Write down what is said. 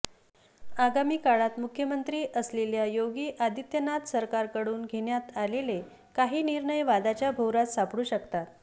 आगामी काळात मुख्यमंत्री असलेल्या योगी आदित्यनाथ सरकारकडून घेण्यात आलेले काही निर्णय वादाच्या भोवऱ्यात सापडू शकतात